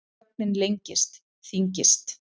Þögnin lengist, þyngist.